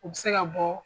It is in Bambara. U bɛ se ka bɔ